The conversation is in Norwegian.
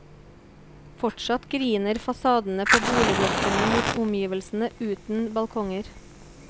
Fortsatt griner fasadene på boligblokkene mot omgivelsene uten balkonger.